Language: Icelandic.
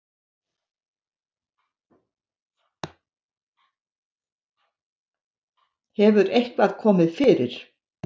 Hefur eitthvað komið fyrir?